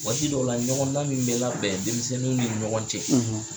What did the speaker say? Waati dɔw la ɲɔgɔnda min bɛ labɛn denmisɛnninw ni ɲɔgɔn cɛ